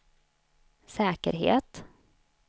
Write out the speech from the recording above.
säkerhet